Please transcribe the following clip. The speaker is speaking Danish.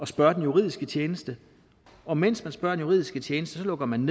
spørge den juridiske tjeneste og mens man spørger den juridiske tjeneste lukker man